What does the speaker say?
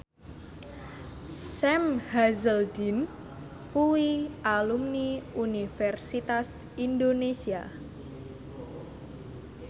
Sam Hazeldine kuwi alumni Universitas Indonesia